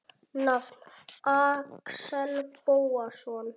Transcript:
Nafn: Axel Bóasson